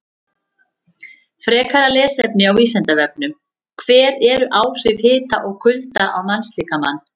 Frekara lesefni á Vísindavefnum: Hver eru áhrif hita og kulda á mannslíkamann?